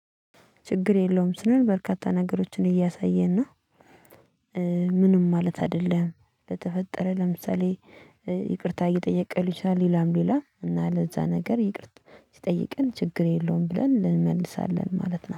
ችግር የለውም ስንል በርካታ ነገሮችን እያሳየን ነው። ምንም ማለት አይደለም ለተፈጠረ ለምሳሌ ይቅርታ እየጠየቀ ልሆን ይችላል። ሌላም ሌላም እና ለዛ ነገር ይቅርታ ሲጠይቅን ችግር የለውም ብለን ል እንመልሳለን ማለት ነው